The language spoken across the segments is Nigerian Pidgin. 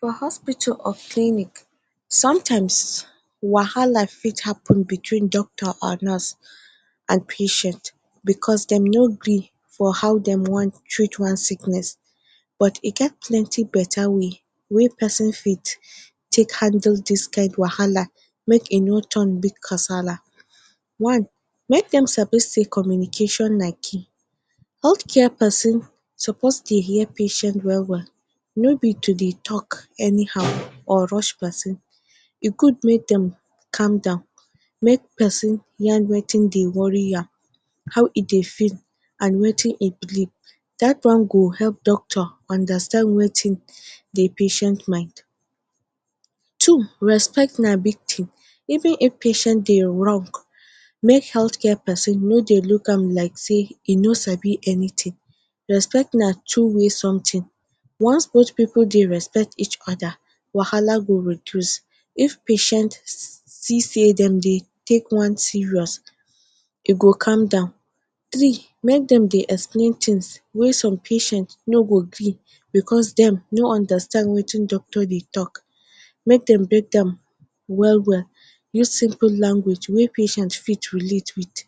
For hospital or clinic, sometimes wahala fit happen between doctor and nurse and patient because dem no gree for how dem wan treat one sickness but e get plenty better way wey person fit take handle dis kain wahala make e no turn big kasala. One, make dem sabi say communication na key. Healthcare person suppose dey hear patient well well. No be to dey talk anyhow or rush person. E good make dem calm down, make person yarn wetin dey worry am, how e dey feel and wetin e need. Dat one go help doctor understand wetin de patient mind. Two, respect na big thing. Even if patient dey wrong make healthcare person no dey look am like sey e no sabi anything. Respect na two way something. Once both pipu dey respect each other wahala go reduce. If patient see sey dem dey take one serious, e go calm down. Three, make dem dey explain things wey some patients no go gree because dem no understand wetin doctor dey talk. Make dem break dem well well, use simple language wey patient fit relate wit.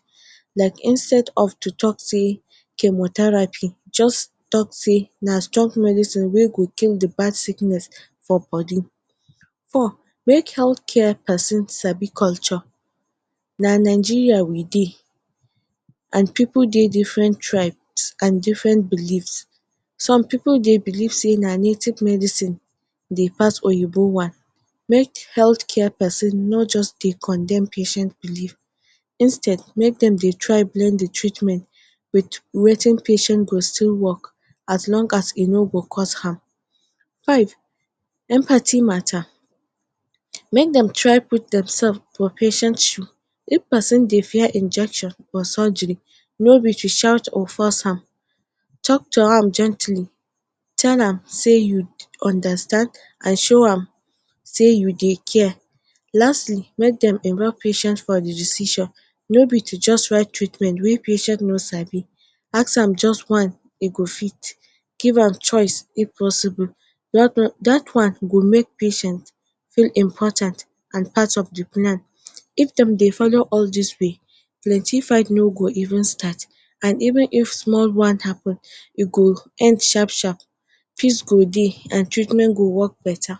Like instead of to talk say, “chemotherapy” just talk say, “na strong medicine wey go kill de bad sickness for body”. Four, make healthcare person sabi culture. Na Nigeria we dey and pipu dey different tribes and different beliefs. Some pipu dey believe sey na native medicine dey pass oyinbo one. Make healthcare person no just dey condemn patient belief. Instead, make dem dey try blend de treatment wit wetin patient go still work as long as e no go cost harm. Five, empathy matter. Make dem try put themself for patient shoe. If person dey fear injection or surgery, no be to shout or force am. Talk to am gently, tell am sey you understand and show am sey you dey care. Lastly, make dem involve patient for the decision. No be to just write treatment wey patient no sabi. Ask am just one e go fit, give am choice if possible.? Dat one go make patient feel important and part of the plan. If dem dey follow all dis way, plenty fight no go even start and even if small one happen, e go end sharp sharp. Peace go dey and treatment go work better.